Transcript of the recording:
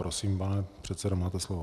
Prosím, pane předsedo, máte slovo.